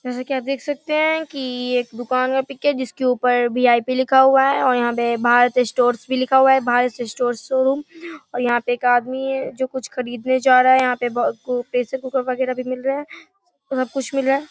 जैसा की आप देख सकते हैं की ये एक दुकान का पिक है जिसके ऊपर वी.आई.पी. लिखा हुआ है और यहाँ पे भारत स्टोर भी लिखा हुआ है भारत स्टोर्स शोरूम और यहाँ पे एक आदमी है जो कुछ खरीदने जा रहा है यहाँ पे यहाँ पे बहुत प्रेशर कुकर वगेरा भी मिल रहे हैं सब कुछ मिल रहे --